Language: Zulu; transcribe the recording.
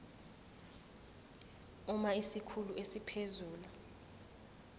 uma isikhulu esiphezulu